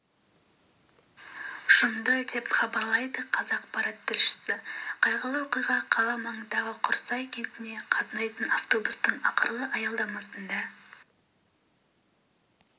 жұмды деп хабарлайды қазақпарат тілшісі қайғылы оқиға қала маңындағы құрсай кентіне қатынайтын автобустың ақырғы аялдамасында